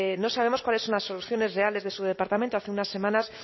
no sabemos cuáles son las soluciones reales de su departamento hace unas semanas